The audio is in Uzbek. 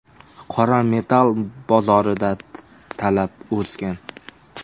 Qora metall bozorida talab o‘sgan.